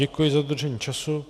Děkuji za dodržení času.